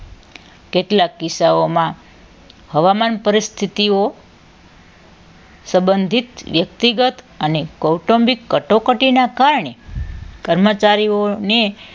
કેટલાક કિસ્સાઓમાં હવામાન પરિસ્થિતિઓ સંબંધિત વ્યક્તિગત અને કોટમ્બિક કટોકટીના કારણે કર્મચારીઓને